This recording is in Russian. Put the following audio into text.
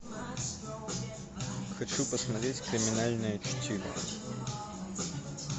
хочу посмотреть криминальное чтиво